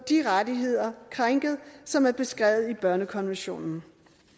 de rettigheder som er beskrevet i børnekonventionen